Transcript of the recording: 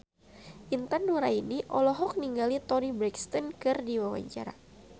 Intan Nuraini olohok ningali Toni Brexton keur diwawancara